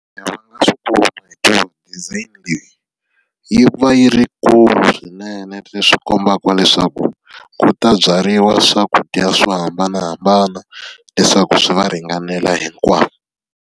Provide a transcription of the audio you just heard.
design leyi, yi ku va yi ri yi kulu swinene leswi kombaka leswaku, ku ta byariwa swakudya swo hambanahambana leswaku swi va ringanela hinkwavo.